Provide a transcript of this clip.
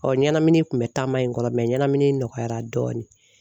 ɲɛnamini kun bɛ taama in kɔnɔ ɲɛnamini nɔgɔyara dɔɔnin.